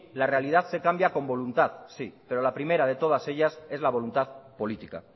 la realidad se cambia con voluntad sí pero la primera de todas ellas es la voluntad política